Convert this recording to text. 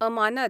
अमानत